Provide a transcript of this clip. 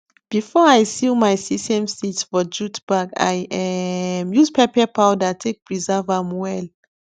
before i seal my sesame seeds for jute bag i um use pepper powder take preserve am well